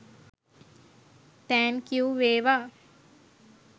Thank you වේවා!